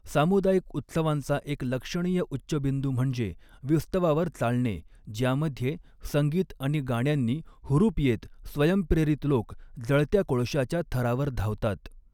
सामुदायिक उत्सवांचा एक लक्षणीय उच्चबिंदू म्हणजे विस्तवावर चालणे, ज्यामध्ये संगीत आणि गाण्यांनी हुरूप येत स्वयंप्रेरित लोक जळत्या कोळशाच्या थरावर धावतात.